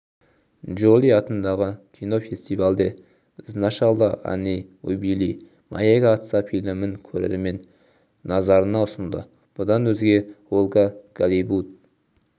джоли аталған кинофестивальде сначала они убили моего отца фильмін көрермен назарына ұсынды бұдан өзге ольга голливуд